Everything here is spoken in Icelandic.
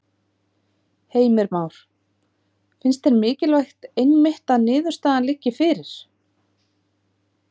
Heimir Már: Finnst þér mikilvægt einmitt að niðurstaðan liggi fyrir?